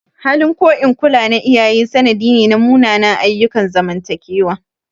Halin ko in kula na iyaye sanadi ne na munanan ayyukan zamantakewa.